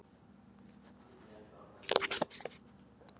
Hann sendi auglýsingastofunni myndirnar frá París daginn eftir.